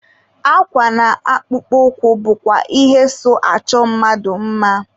Akwa na akpụkpọ ụkwụ bụkwa ihe so achọ mmadụ mma.